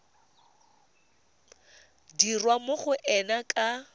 dirwa mo go ena ka